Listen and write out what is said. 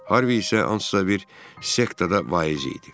Harvi isə hansısa bir sektada vaiz idi.